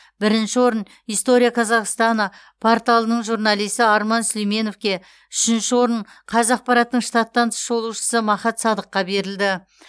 бірінші орын история казахстана порталының журналисі арман сүлейменовке үшінші орын қазақпараттың штаттан тыс шолушысы махат садыққа берілді